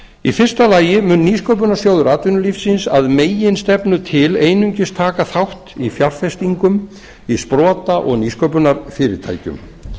í fyrsta lagi mun nýsköpunarsjóður atvinnulífsins að meginstefnu til einungis taka þátt í fjárfestingum í sprota og nýsköpunarfyrirtækjum